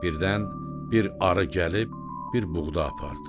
Birdən bir arı gəlib bir buğda apardı.